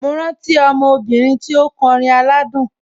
Mo rántí ọmọ obìnrin tí ó kọrin aládùn.